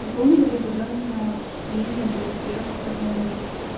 потом были задания чтение был текст огромный